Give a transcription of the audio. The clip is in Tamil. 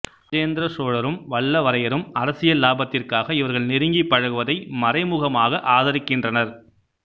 இராஜேந்திர சோழரும் வல்லவரையரும் அரசியல் லாபத்திற்காக இவர்கள் நெருங்கிப் பழகுவதை மறைமுகமாக ஆதரிக்கின்றனர்